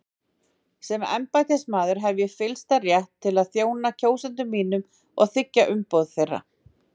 Sem embættismaður hef ég fyllsta rétt til að þjóna kjósendum mínum og þiggja umboð þeirra.